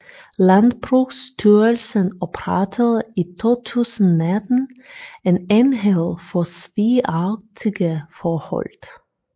Landbrugsstyrelsen oprettede i 2019 en enhed for svigagtige forhold